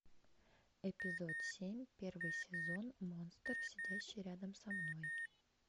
эпизод семь первый сезон монстр сидящий рядом со мной